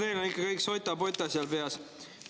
No teil on ikka kõik sota-pota seal peas.